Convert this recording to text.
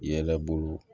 Yɛlɛ bolo